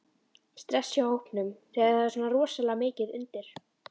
Stress í hópnum þegar það er svona rosalega mikið undir?